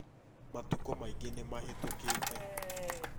Matukũ maingĩ nĩ mahĩtũkĩte